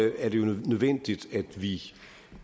er det jo nødvendigt at vi